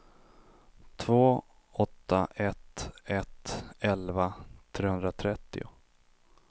två åtta ett ett elva trehundratrettio